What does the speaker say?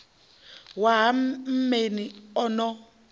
wa ha mmeni a no